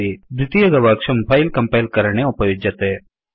द्वितीय गवाक्षं file compile करणे उपयुज्यते